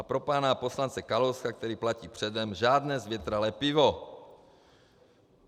A pro pana poslance Kalouska, který platí předem, žádné zvětralé pivo.